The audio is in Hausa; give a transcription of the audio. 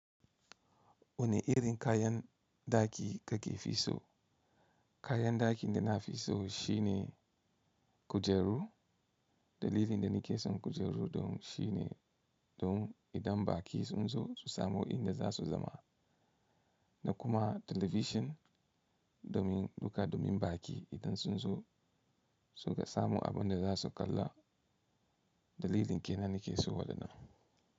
Wane irin kayan ɗaki kake fi so? Kayan ɗaki da na fi so shine kujeru. Dalilin da ni ke son kujeru don shine, don idan baƙi sun zo su samu inda za su zama. Na kuma talabishin domin, duka domin baƙi idan sun zo su ga samu abin da za su kalla. Dalilin ke nan ni ke so wadannan.